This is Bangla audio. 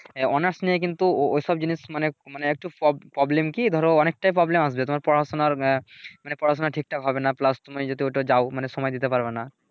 আহ অনার্স নিয়ে কিন্তু ওইসব জিনিস মানে মানে একটু পব প্রবলেম কি ধরো অনেকটা প্রবলেম আছে তোমার পড়াশুনার গা মানে পড়াশুনা ঠিকঠাক হবেনা প্লাস তুমি যদি ওইটায় যাও মানি সময় দিতে পারবানা।